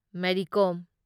Mary Kom